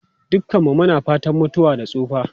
Dukanmu muna fatan mutuwa da tsufa.